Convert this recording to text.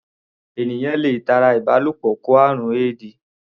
Ènìyàn le tara ìbálòpọ̀ kó àrùn éèdì.